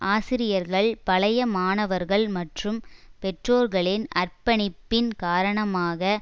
ஆசிரியர்கள் பழைய மாணவர்கள் மற்றும் பெற்றோர்களின் அர்ப்பணிப்பின் காரணமாக